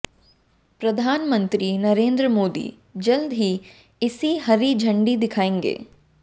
प्रधानमंत्री नरेंद्र मोदी जल्द ही इसे हरी झंडी दिखाएंगे